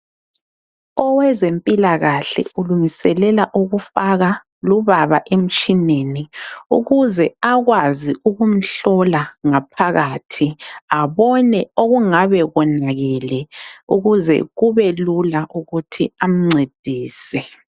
Owezempilakahle ulungiselelela ukufaka lubaba emtshineni ukuze akwazi ukumhlola ngaphakathi abone okungabe konakele ukuzekube lula ukuthi amncedise.